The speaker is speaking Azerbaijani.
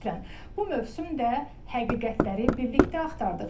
Bu mövsüm də həqiqətləri birlikdə axtardıq.